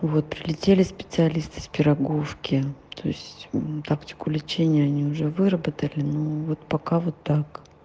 вот прилетели специалисты с пироговки то есть тактику лечения они уже выработали ну вот пока вот так